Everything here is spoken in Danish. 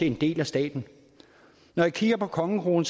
en del af staten når jeg kigger på kongekronen